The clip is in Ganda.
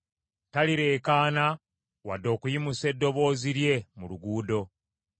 Talireekaana wadde okuyimusa eddoboozi lye mu luguudo.